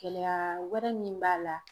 Gɛlɛya wɛrɛ min b'a la